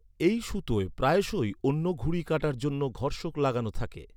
এই সুতোয় প্রায়শই অন্যের ঘুড়ি কাটার জন্য ঘর্ষক লাগানো থাকে।